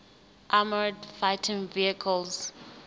armoured fighting vehicles